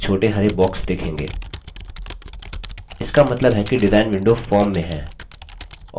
इसका मतलब है कि design window फॉर्म में है